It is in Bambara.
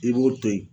I b'o to yen